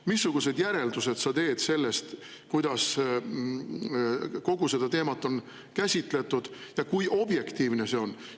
Missugused järeldused sa sellest teed, kuidas kogu seda teemat on käsitletud ja kui objektiivne see on?